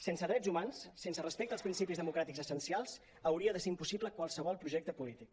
sense drets humans sense respecte als principis democràtics essencials hauria de ser impossible qualsevol projecte polític